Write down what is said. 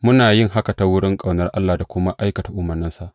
Muna yin haka ta wurin ƙaunar Allah da kuma aikata umarnansa.